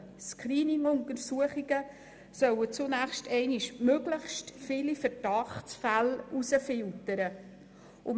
Screening-Untersuchungen sollen zunächst einmal möglichst viele Verdachtsfälle herausfiltern.